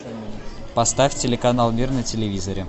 поставь телеканал мир на телевизоре